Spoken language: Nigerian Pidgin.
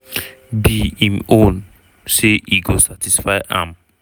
be im own say e go satisfy am.